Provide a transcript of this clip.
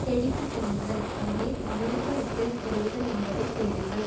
தேடிக்கு செல்லுங்கள் அங்கே America Ukraine உறவுகள் என்பதை தேடுங்கள்